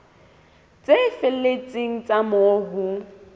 tse felletseng tsa moo ho